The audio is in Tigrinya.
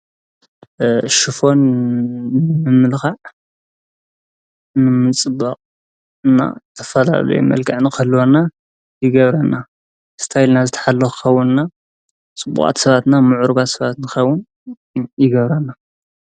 ሽፎን ምምልኻዕ ምጽባቕን ዝተፈላለየ መልክዕ ኸህልወና ይገብረና ስታይል ና ዝተሓልኸዉንና ጽቡቓት ሰባትና ምዑርጓት ሰባትንኸዉን ይገብረና።